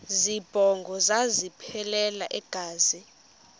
zibongo zazlphllmela engazi